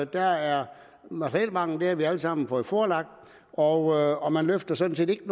der er materielmangel det har vi alle sammen fået forelagt og og man løfter sådan set ikke